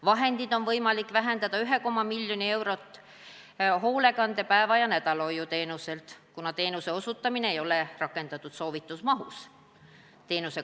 Vahendeid on võimalik vähendada 1,5 mln eurot erihoolekande päeva- ja nädalahoiu teenuselt, kuna teenuse osutamine ei ole rakendunud soovitud mahus .